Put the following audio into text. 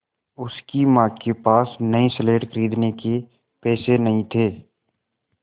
उसकी माँ के पास नई स्लेट खरीदने के पैसे नहीं थे